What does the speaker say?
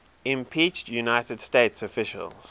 impeached united states officials